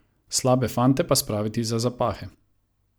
Slabe fante pa spraviti za zapahe.